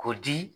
K'o di